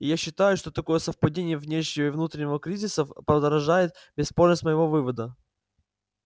я считаю что такое совпадение внешнего и внутреннего кризисов подражает бесспорность моего вывода